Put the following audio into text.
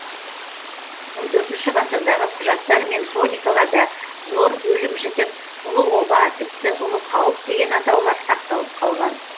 он төртінші ғасырдағы құжаттар мен хроникаларда зор өлім жітік ұлы оба тіпті ұлы қауіп деген атаулар сақталып қалған